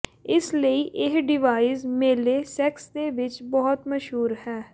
ਇਸ ਲਈ ਇਹ ਡਿਵਾਈਸ ਮੇਲੇ ਸੈਕਸ ਦੇ ਵਿੱਚ ਬਹੁਤ ਮਸ਼ਹੂਰ ਹੈ